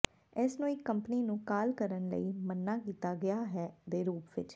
ਇਸ ਨੂੰ ਇੱਕ ਕੰਪਨੀ ਨੂੰ ਕਾਲ ਕਰਨ ਲਈ ਮਨ੍ਹਾ ਕੀਤਾ ਗਿਆ ਹੈ ਦੇ ਰੂਪ ਵਿੱਚ